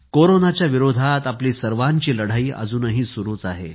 कोरोनाच्या विरोधात आपली सर्वांची लढाई अजूनही सुरु आहे